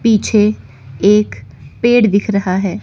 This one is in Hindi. पीछे एक पेड़ दिख रहा है।